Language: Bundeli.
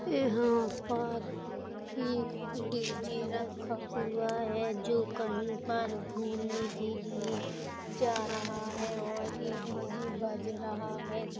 यहां पर एक डीजी रखा हुआ है जो कहीं पर घूमने के लिए जा रहा है और एक डी.जे. बज रहा है। ज --